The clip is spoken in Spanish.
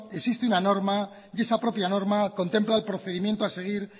existe una norma y esa propia norma contempla el procedimiento a seguir